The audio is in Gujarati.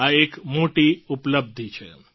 આ એક મોટી ઉપલબ્ધિ છે